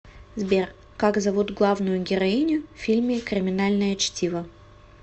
сбер как зовут главную героиню в фильме криминальное чтиво